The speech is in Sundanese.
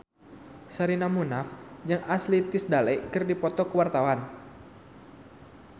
Sherina Munaf jeung Ashley Tisdale keur dipoto ku wartawan